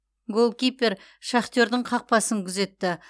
голкипер шахтердің қақпасын күзетті